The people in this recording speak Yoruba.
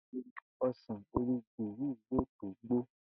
Ìgbà wo ni o̩sàn orí ìgí yìí yóò tó gbó?